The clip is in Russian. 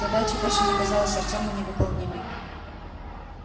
задача больше не казалась артёму невыполнимой